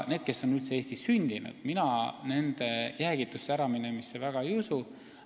Mina väga ei usu nende jäägitusse äraminemisse, kes on Eestis sündinud.